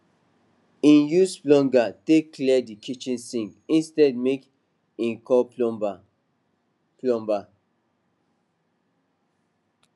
e use plunger take clear di kitchen sink instead make e call plumber plumber